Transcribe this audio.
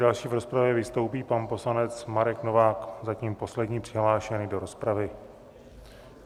Další v rozpravě vystoupí pan poslanec Marek Novák, zatím poslední přihlášený do rozpravy.